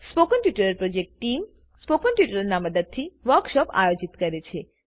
spoken tutorial project team spoken ટ્યુટોરીયલોનાં મદદથી વર્કશોપોનું આયોજન કરે છે